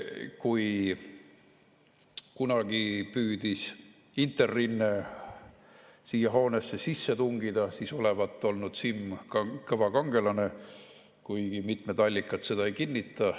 Kui kunagi püüdis Interrinne siia hoonesse sisse tungida, siis olevat Simm olnud kõva kangelane, kuigi mitmed allikad seda ei kinnita.